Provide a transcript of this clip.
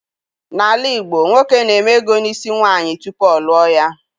N'ala Igbo, nwoke na-eme ego n'isi nwaanyị tupu ọ lụọ ya.